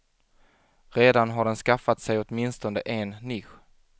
Redan har den skaffat sig åtminstone en nisch.